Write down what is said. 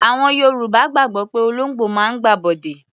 Àwọn Yorùbá gbàgbọ́ pé olóńgbò máa ń gbàbọ̀dè.